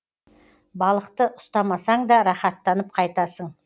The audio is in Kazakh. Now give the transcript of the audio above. балықты ұстамасаң да рахаттанып қайтасың